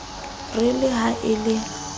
re le ha e le